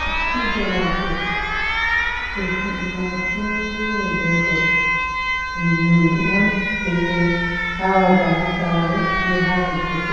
Dukkuje laɗde ɗo fuɗi ma pindire gotel ɗum nyamdu on je ɓe awata ha sare be ha ladde fu,